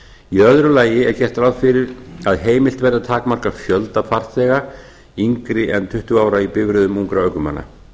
í öðru lagi er gert ráð fyrir að heimilt verði að takmarka fjölda farþega yngri en tuttugu ára í bifreiðum ungra ökumanna